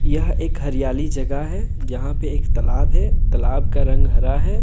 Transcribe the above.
यह एक हरियाली जगह है यहां पे एक तालाब है तालाब का रंग हरा है।